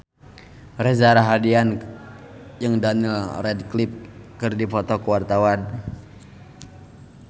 Reza Rahardian jeung Daniel Radcliffe keur dipoto ku wartawan